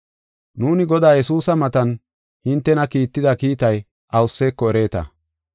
Nuuni Godaa Yesuusa maatan hintena kiitida kiitay awuseko ereeta.